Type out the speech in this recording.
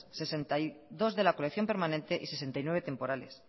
sesenta y dos de la colección permanente y sesenta y nueve temporales